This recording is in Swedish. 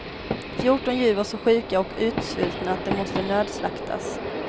Fjorton djur var så sjuka och utsvultna att de måste nödslaktas.